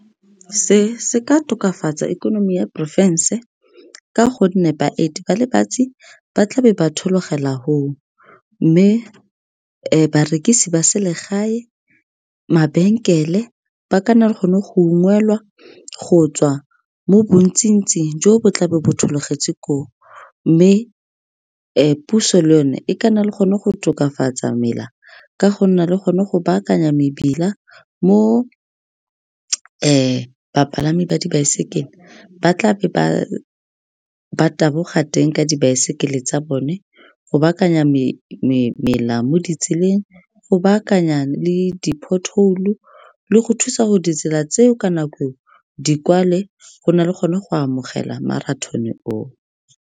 Se se ka tokafatsa ikonomi ya porofense ka gonne baeti ba le bantsi ba tlabe ba thologela , mme barekisi ba selegae, mabenkele, ba ka nna le gone go ungwelwa go tswa mo bontsi-ntsing jo bo tla be ba thologetse koo. Mme puso le yone e ka nna le gone go tokafatsa mela ka go nna le gone go baakanya mebila mo bapalami ba dibaesekele ba tla be ba taboga teng ka dibaesekele tsa bone, go baakanya mela mo di tseleng, go baakanya le di-pothole-u, le go thusa gore ditsela tse o ka nako e o di kwale, go nna le gone go amogela marathon-e oo.